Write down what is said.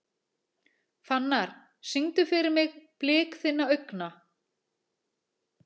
Fannar, syngdu fyrir mig „Blik þinna augna“.